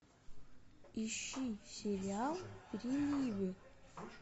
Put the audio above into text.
ищи сериал ревнивы